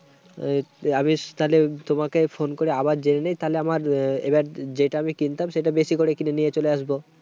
তো আমি তাহলে তোমাকে phone করে আবার জেনে নেই। তাহলে আমার এবার যেটা আমি কিনতাম, সেটা আমি বেশি করে কিনে নিয়ে চলে আসবো।